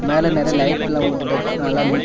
மேல நெறியா லைட்ல போட்டுட்டு நல்லா நீட் .